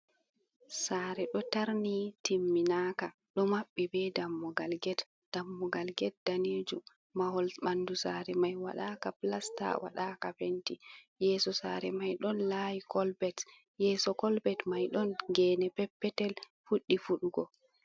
Sare ɗo tarni timminaka ɗo maɓɓi be dammugal get, dammugal get danejum mahol ɓandu sare mai waɗaka plasta waɗaka fenti, yeso sare mai ɗon lawi kolbet yeso kolbet mai ɗon gene peppetel fuɗɗi fuɗugo.